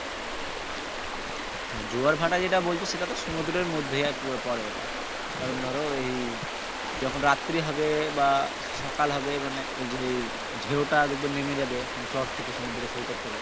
হ্যাঁ জোয়ার ভাটা যেটা বলছো সেটা তো সমুদ্রের মধ্যে পরে ওটা কারন ধরো এই যখন রাত্রি হবে বা সকাল হবে মানে যে ঢেউ টা দেখবে নেমে যাবে মানে চর থেকে সমুদ্র সৈকত থেকে